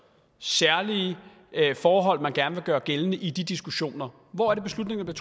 særlige forhold man gerne vil gøre gældende i de diskussioner hvor er det beslutningerne